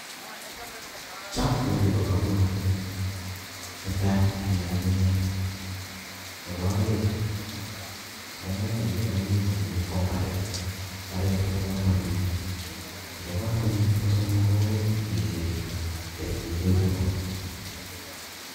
Chang tugun chebo komonut eng yuu, netai mii ng'ung'unyek nebo oeng ng'ung'unyek chuton komii ko mbaret, mbaret kobo komonut nebo somok komii ketiik, ketiik koibu rop